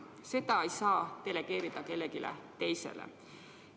Seda ei saa delegeerida kellelegi teisele.